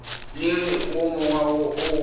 le wo mongwe wo o